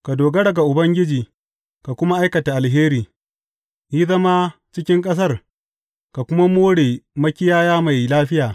Ka dogara ga Ubangiji ka kuma aikata alheri; yi zama cikin ƙasar ka kuma more makiyaya mai lafiya.